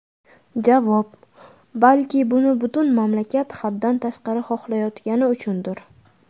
Javob: Balki buni butun mamlakat haddan tashqari xohlayotgani uchundir?!